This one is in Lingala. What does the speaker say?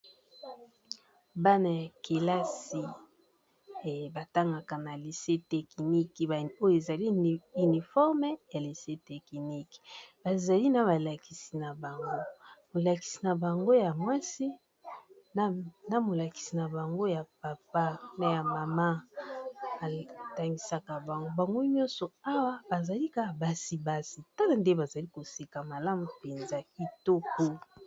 Bana ya kelasi batangaka na lyce technique oyo ezali uniforme ya lycée technique bazalina balakisi na bango molakisi n'a bango ya mwasi na molakisi na bango ya papa na ya mama batangisaka bango bango nyonso awa bazali kaka basi n'a basi tala ndenge bazali koseka malamu mpenza kitoko